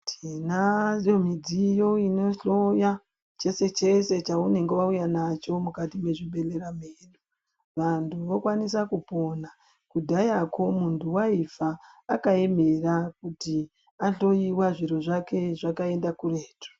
Tinayo midziyo inohloya chese chese chaunenge wauya nacho mukati mezvibhedhlera mwedu vanthu vokwanisa kupona kudhayako munthu waifa akaemera kuti ahloyiwa zviro zvake zvakaenda kuretu.